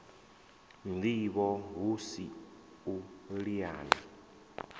ndivho hu si u liana